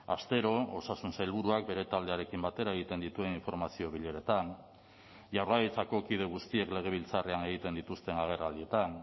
astero osasun sailburuak bere taldearekin batera egiten dituen informazio bileretan jaurlaritzako kide guztiek legebiltzarrean egiten dituzten agerraldietan